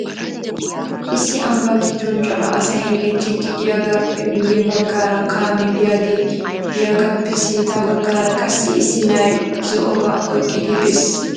Issi ambbaa giddon cora asay hemettiddi diyagaappe guyye baggaara kaamee biyaagee diyagaappe sintta baggaara qassi issi na'ay zo'obaa oyiqqidi bes.